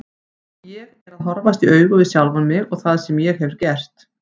Ég er að horfast í augu við sjálfan mig og það sem ég hef gert.